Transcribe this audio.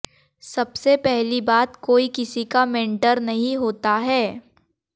सबसे पहली बात कोई किसी का मेंटर नहीं होता है